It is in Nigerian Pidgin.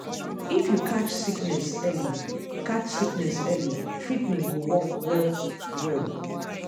if you catch sickness early catch sickness early treatment go work well-well.